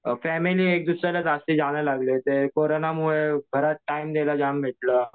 अ family एक दुसऱ्याला लागलेत. कोरोनामुळे घरात टाइम द्यायला जास्त भेटलं.